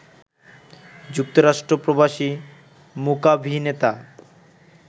যুক্তরাষ্ট্র প্রবাসী মূকাভিনেতা